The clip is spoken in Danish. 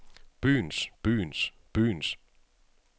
byens byens byens